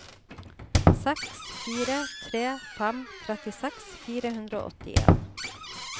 seks fire tre fem trettiseks fire hundre og åttien